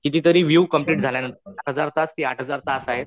कितीतरी विव कंप्लेंट झाल्यानंतर हजार तास ती आहे